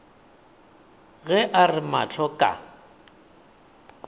ge a re mahlo ka